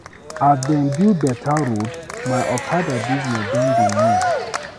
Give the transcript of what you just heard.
As dem don build beta road, my okada business don dey move.